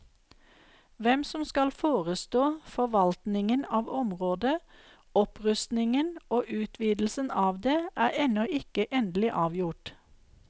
Hvem som skal forestå forvaltningen av området, opprustningen og utvidelsen av det, er ennå ikke endelig avgjort.